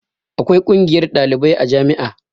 Akwai ƙungiyar ɗalibai a jami'a